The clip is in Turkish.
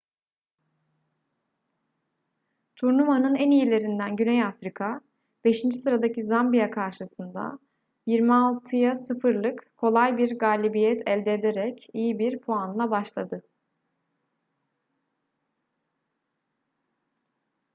turnuvanın en iyilerinden güney afrika 5. sıradaki zambiya karşısında 26-0’lık kolay bir galibiyet elde ederek iyi bir puanla başladı